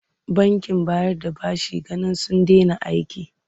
Bankin bayar da bashin ginin sun dena aiki.